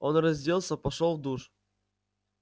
он разделся пошёл в душ